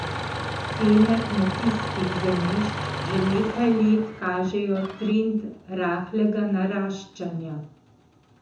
Cene kmetijskih zemljišč že nekaj let kažejo trend rahlega naraščanja.